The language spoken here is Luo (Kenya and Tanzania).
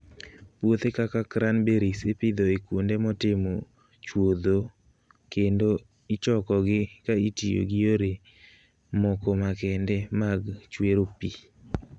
Puothe kaka cranberries ipidho e kuonde motimo chuodho kendo ichokogi ka itiyo gi yore moko makende mag chwero pi.